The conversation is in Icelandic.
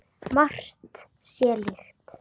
Margt sé líkt.